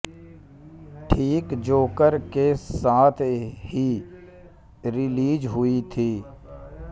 ठीक जोकर के साथ ही रिलीज हुई थी